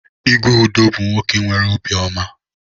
Igwe Udo bu nwoke nwere obi oma.